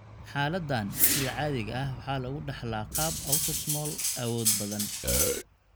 Xaaladdan sida caadiga ah waxaa lagu dhaxlaa qaab autosomal awood badan.